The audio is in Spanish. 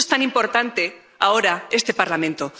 Por eso es tan importante, ahora, este Parlamento.